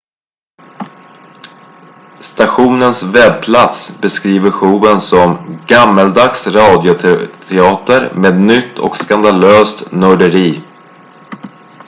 stationens webbplats beskriver showen som gammaldags radioteater med nytt och skandalöst nörderi